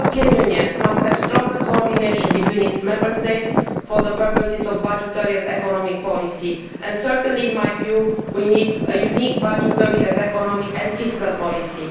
The European Union must have stronger coordination between its Member States for the purposes of budgetary and economic policy and certainly, in my view, we need a single budgetary and economic and fiscal policy.